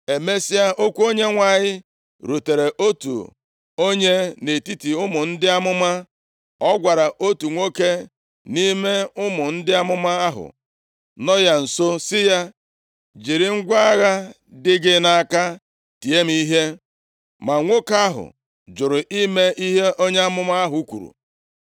Emesịa, okwu Onyenwe anyị rutere otu onye nʼetiti ụmụ ndị amụma. Ọ gwara otu nwoke nʼime ụmụ ndị amụma ahụ nọ ya nso sị ya, “Jiri ngwa agha dị gị nʼaka tie m ihe.” Ma nwoke ahụ jụrụ ime ihe onye amụma ahụ kwuru.